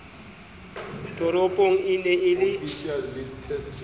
toropong e ne e le